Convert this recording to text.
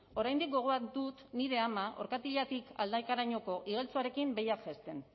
oraindik gogoan dut nire ama orkatilatik aldakarainoko igeltsuarekin behiak jaisten